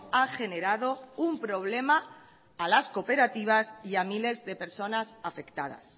ha generado un problema a las cooperativas y a miles de personas afectadas